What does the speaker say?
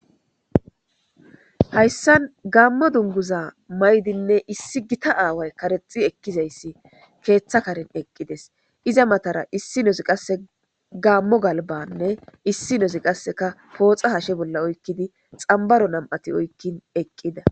hayssan gaammo dunguza maydinne issi gita aaway karexi ekkizayssi keeththa karin eqqides iza matara issi nosi qasse gaammo galbanne issi nozi qasseka pooxa hashe bolla oykkidi xambaro nam7ati oykkin eqqida.